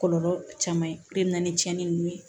Kɔlɔlɔ caman ye o de na ni tiɲɛni ninnu ye